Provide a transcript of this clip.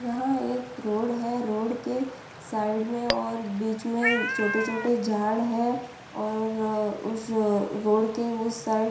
यहाँ एक रोड है रोड के साइड में और बीच में छोटे-छोटे झाड़ है और उस रोड के उस साइड --